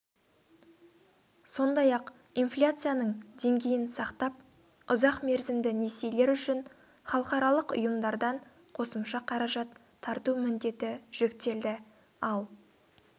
сондай-ақ инфляцияның деңгейін сақтап ұзақ мерзімді несиелер үшін халықаралық ұйымдардан қосымша қаражат тарту міндеті жүктелді ал